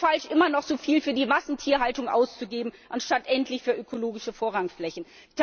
Es ist falsch, noch immer so viel für die Massentierhaltung auszugeben anstatt endlich für ökologische Vorrangflächen.